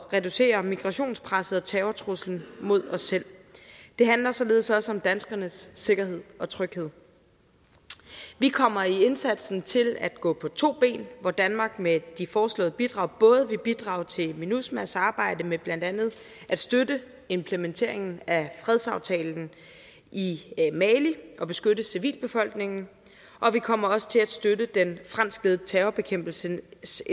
reducere migrationspresset og terrortruslen mod os selv det handler således også om danskernes sikkerhed og tryghed vi kommer i indsatsen til at gå på to ben hvor danmark med de foreslåede bidrag både vil bidrage til minusma s arbejde med blandt andet at støtte implementeringen af fredsaftalen i mali og beskytte civilbefolkningen og vi kommer også til at støtte den franskledede terrorbekæmpelsesindsats